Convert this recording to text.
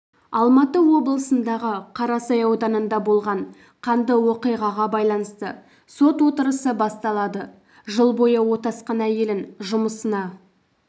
алматы облысындағы қарасай ауданында болған қанды оқиғаға байланысты сот отырысы басталады жыл бойы отасқан әйелін жұмысына